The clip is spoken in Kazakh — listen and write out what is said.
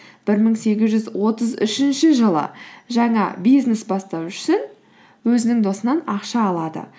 бір мың сегіз жүз отыз үшінші жылы жаңа бизнес бастау үшін өзінің досынан ақша алады